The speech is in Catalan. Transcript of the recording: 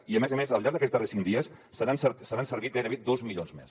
i a més a més al llarg d’aquests darrers cinc dies se n’han servit gairebé dos milions més